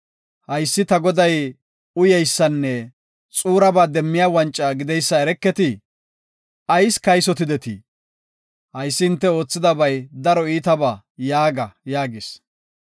Haysi ta goday uyeysanne xuuraba demmiya wanca gideysa ereketii? Ayis kaysotidetii? Haysi hinte oothidabay daro iitaba’ yaaga” yaagis.